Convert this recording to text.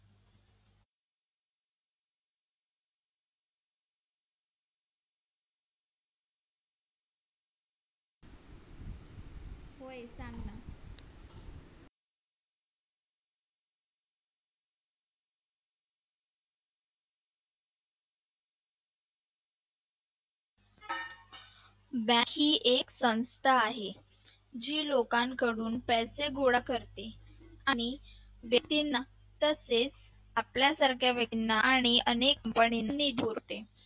bank ही एक संस्था आहे जी लोकांकडून पैसे गोळा करते आणि व्यक्तींना तसेच आपल्यासारख्या व्यक्तींना आणि अनेक